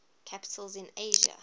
capitals in asia